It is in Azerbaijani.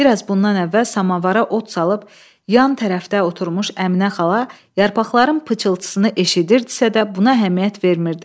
Bir az bundan əvvəl samavara od salıb, yan tərəfdə oturmuş Əminə xala yarpaqların pıçıltısını eşidirdisə də, buna əhəmiyyət vermirdi.